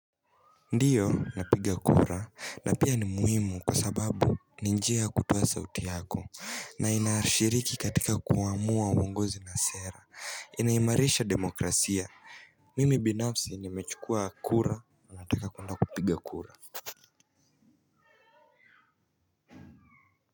Ndiyo napiga kura na pia ni muhimu kwa sababu ninjia ya kutoa sauti yako na inashiriki katika kuamua wongozi na sera inaimarisha demokrasia mimi binafsi nimechukua kura na nataka kuenda kupiga kura.